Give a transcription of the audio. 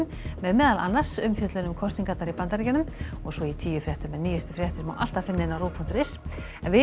með meðal annars umfjöllun um kosningarnar í Bandaríkjunum og svo í tíufréttum en nýjustu fréttir má alltaf finna á rúv punktur is við